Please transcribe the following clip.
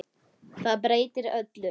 Það breytti öllu.